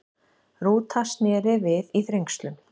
Rúta snéri við í Þrengslum